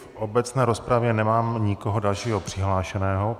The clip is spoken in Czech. V obecné rozpravě nemám nikoho dalšího přihlášeného.